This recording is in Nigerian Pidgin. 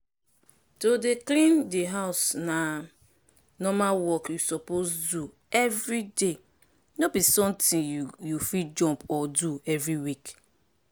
to dey clean di house na normal work you suppose do every day no be something you fit jump or do every week.